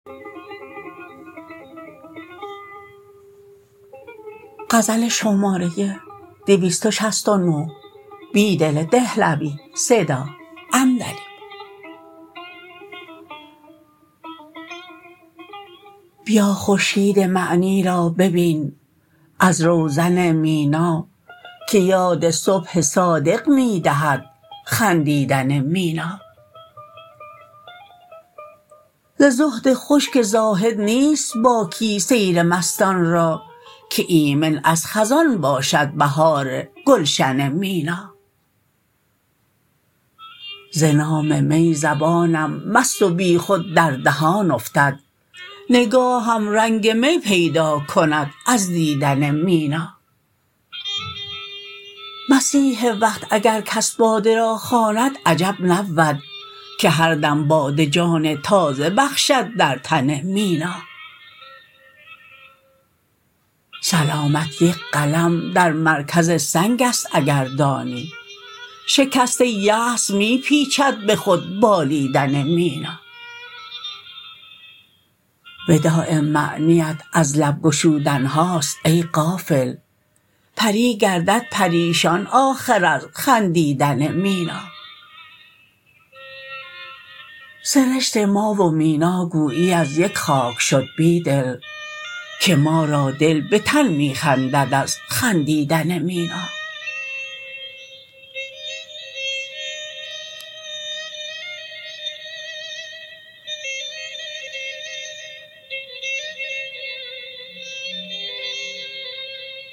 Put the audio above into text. بیا خورشید معنی را ببین ازروزن مینا که یاد صبح صادق می دهد خندیدن مینا ز زهد خشک زاهد نیست باکی سیر مستان را که ایمن از خزان باشد بهارگلشن مینا زنام می زبانم مست و بیخود در دهان افتد نگاهم رنگ می پیداکند از دیدن مینا مسیح وقت اگرکس باده را خواند عجب نبود که هردم باده جان تازه بخشد در تن مینا سلامت یک قلم در مرکزسنگ ست اگر دانی شکست یأس می پیچد به خود بالیدن مینا وداع معنی ات از لب گشودنهاست ای غافل پری گردد پریشان آخر از خندیدن مینا سرشت ما و میناگویی ازیک خاک شد بیدل که ما را دل به تن می خندد از خندیدن مینا